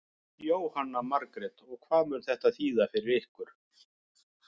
Jóhanna Margrét: Og hvað mun þetta þýða fyrir ykkur?